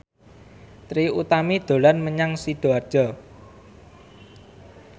Trie Utami dolan menyang Sidoarjo